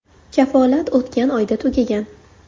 Kafolat o‘tgan oyda tugagan”.